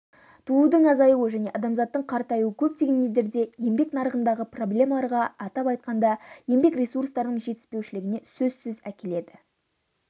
туудың азаюы және адамзаттың қартаюы көптеген елдерде еңбек нарығындағы проблемаларға атап айтқанда еңбек ресурстарының жетіспеушілігіне сөзсіз әкеледі